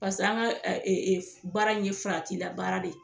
Paseke an ka ɛ e e baara in ye farati la baara de ye